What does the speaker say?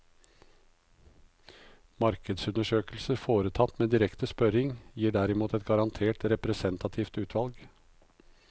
Markedsundersøkelser foretatt med direkte spørring, gir derimot et garantert representativt utvalg.